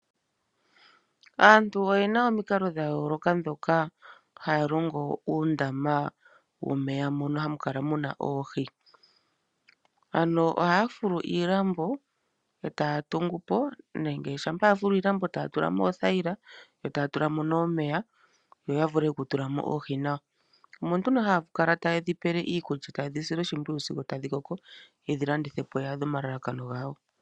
Aantu oye na omikalo dha yooloka ndhoka haya longitha okulonga uundama womeya moka hamu kala mu na oohi. Ohaya fulu iilambo e taya tungu po nenge shampa ya fulu iilambo e taya tula mo oothayila yo taya tula mo ihe omeya, opo ya vule okutula mo oohi nawa. Omo nduno haya kala taye dhi pele iikulya, taye dhi sile oshimpwiyu sigo tadhi koko ye dhi landithe po ya adhe omalalakano gawo.